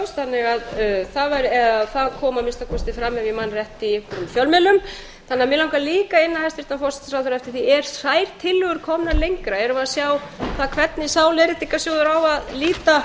kom að minnsta kosti fram ef ég man rétt í einhverjum fjölmiðlum mig langar því líka að inna hæstvirtan forsætisráðherra eftir því eru þær tillögur komnar lengra erum við að sjá hvernig sá leiðréttingarsjóður á að líta